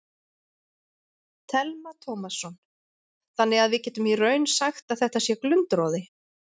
Telma Tómasson: Þannig að við getum í raun sagt að þetta sé glundroði?